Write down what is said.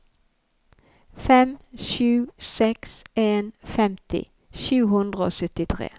fem sju seks en femti sju hundre og syttitre